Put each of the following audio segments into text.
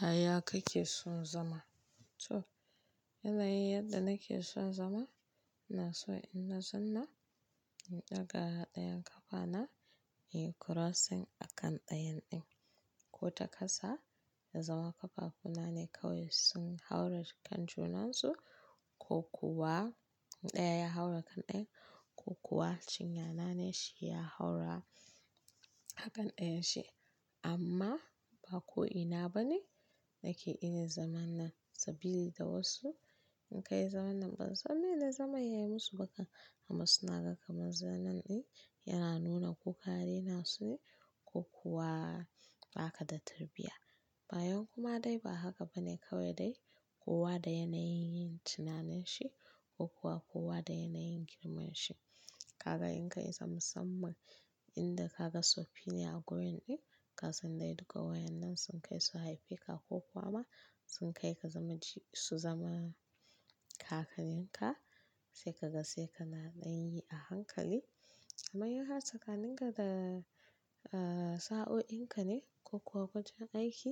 Yaya kake son zama? To, yanayi yanda nake son zama, ina so ina zan na in ɗaga ɗayan kafana in yi crossing a kan ɗayan ɗin. Ko ta kasa ya zama kafafuna ne kawai sun haura kan junan su ko kuwa in ɗaya ya haura kan ɗayan ko kuwa cinya nane shi ya haura a kan ɗayan shi. Amma ba ko ina ba ne nake irin zaman na sabili da wasu. In kai zaman nan ban san mene zaman ya yi musu ba kan amma suna ga kaman zanan ɗin yana nuna ko ka raina su ne ko kuwa baka da tarbiyya. Bayan kuma dai ba haka ba ne kawai dai kowa da yanayin yin tunanin shi ko kuwa kowa da yanayin girman shi. Kaga in kai zam musamman inda ka ga suffi ne a gurin ɗin, ka san dai duka wayan nan sun kai su haife ka ko kuwa ma sun kai ka zamanci-- su zama kakannin ka sai ka ga sai ka na ɗan yi a hankali. Amma in har tsakanin ga da, eh, sa'o'in ka ne ko kuwa wajen aiki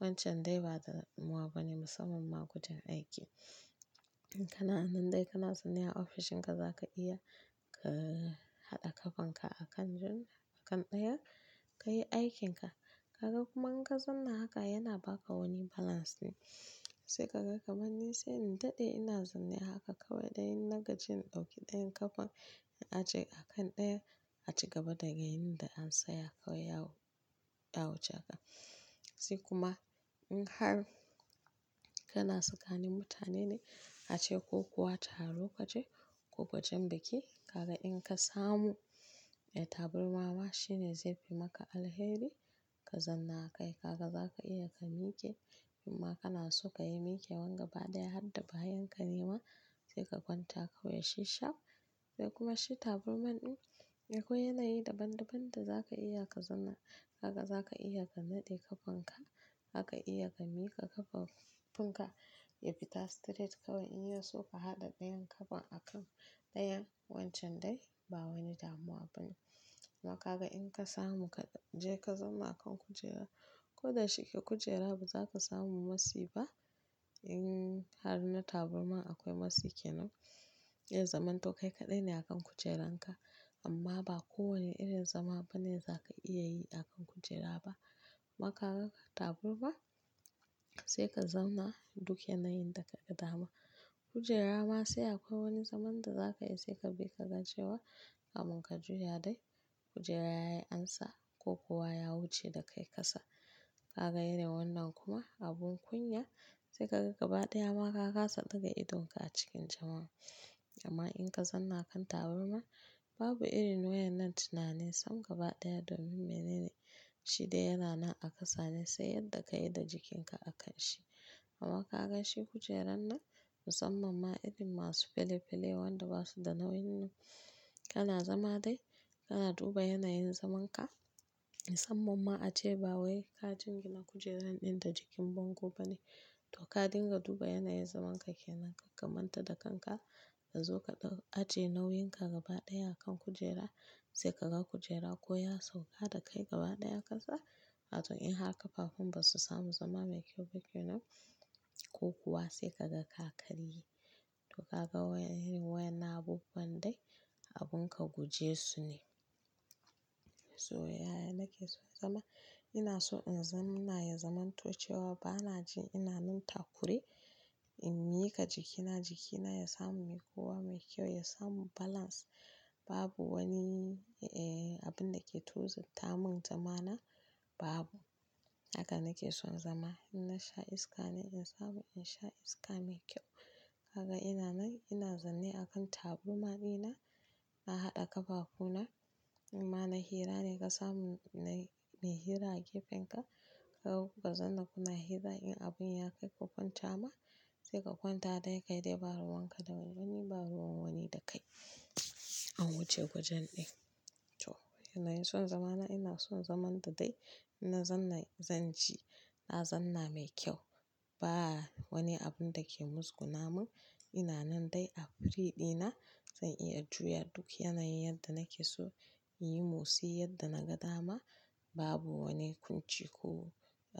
wancan dai ba damuwa ba ne musamman ma kuje aiki. In kana nan dai kana zan ne a ofishin ka za ka iya ka eh, haɗa kafan ka a kan jun-- a kan ɗaya ka yi aikinka. Kaga kuma in ka zamna haka yana ba ka wani balance ne. Sai ka ga kaman ni sai in daɗe ina zanne haka kawai dai ina gaji in ɗauki ɗayan kafan in aje a kan ɗaya a cigaba da ga in da an saya kawai yawo, ya wuce haka. Sai kuma in har kana sakanin mutane ne ace ko kuwa taro kaje ko wajen biki, kaga in ka samu, eh, taburma ma shi ne zai fi maka alheri ka zanna akai. Kaga za ka iya ka miƙe, in ma kana so ka yi mikewan gaba ɗaya hadda bayan ka nema sai ka kwanta kawai shi sharp. Sai kuma shi taburman ɗin akwai yanayi daban-daban da za ka iya ka zanna kaga za ka iya ka naɗe kafan ka, zaka iya ka mika kafafun ka ya fita straight kawai in ya so ka haɗa ɗayan kafan a kan ɗayan wancan dai ba wani damuwa ba ne. Maka ga in ka samu ka je ka zauna a kan kujera ko da shike kujera ba za ka samu matsi ba. In har na taburma akwai matsi ke nan, dai zaman to kai kaɗai ne a kan kujeran ka. Amma ba kowane irin zama ba ne za ka iya yi a kan kujera ba. Maka ga ka taburma sai ka zauna duk yanayin da kaga dama. Kujera ma sai akwai wani zaman da za ka yi sai ka bi ka ga cewa kamun ka juya dai kujera ya yi ansa ko kuwa ya wuce da kai ka sa. Kaga irin wannan kuma abun kunya sai ka ga gaba ɗaya ma ka kasa ɗiga idonka a cikin jama'a. Amma in ka zanna kan taburma babu irin wayan nan tunani sam gaba ɗaya domin menene shi dai yana nan a kasa ne sai yadda ka yi da jikinka a kan shi. Amma ka ga shi kujeran nan musamman ma irin masu fele-fele wanda ba su da nauyin nan, kana zama dai kana duba yanayin zaman ka. Musamman ma ace ba wai ka jingina kujeran ɗin da jikin bango ba ne. To ka dinga duba yanayin zaman ka ke nan ka kamanta da kanka ka zo ka dau aje nauyin ka gaba ɗaya a kan kujera sai ka ga kujera ko ya sauka da kai gaba ɗaya kasa. Ato in har kafafun ba su samu zama me kyau ba ke nan ko kuwa sai ka ga ka karye. To ka ga wayen irin wayan na abubuwan dai abun ka guje su ne. To yaya nake so zama ina so in zam-- na ya zamanto cewa ba na ji ina nan takure in mika jikina jikina ya samu mikuwa me kyau ya samu balance. Babu wani, eh, abun da ke tozat tamun zama na babu. Haka nake son zama. In na sha iska ne in samu in sha iska mai kyau. Kaga ina nan ina zanne a kan taburma ɗina na haɗa kafafu na in ma na hira ne ka samu nai me hira a gefen ka. Kaga kuka zanna kuna hira in abun ya kai ka kwanta ma sai ka kwanta dai kai dai ba ruwan ka da wani ba ruwan wani da kai an wuce wajen ɗin. To, yanayin son zamana ina son zaman da dai ina zanna zan ji na zanna mai kyau. Ba wani abun da ke musgunamun ina nan dai a free ɗina zan iya juya duk yanayi yadda nake so, inyi mosi yadda na ga dama babu wani kunci ko, eh.